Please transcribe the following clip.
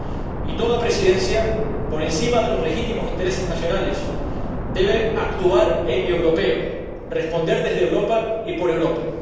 Y toda Presidencia, por encima de los legítimos intereses nacionales, debe actuar en europeo, responder desde Europa y por Europa.